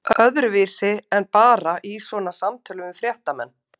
Öðruvísi en bara í svona samtölum við fréttamenn?